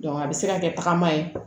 a bɛ se ka kɛ tagama ye